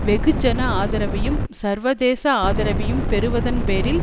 வெகுஜன ஆதரவையும் சர்வதேச ஆதரைவையும் பெறுவதன் பேரில்